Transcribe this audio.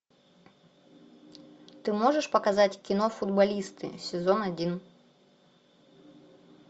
ты можешь показать кино футболисты сезон один